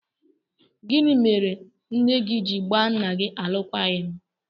Gịnị mere nne gị ji gbaa nna gị alụkwaghịm?